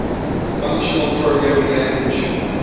functional programming language